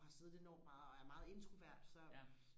og har siddet enormt meget og er meget introvert så